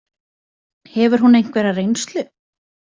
Hefur hún einhverja reynslu?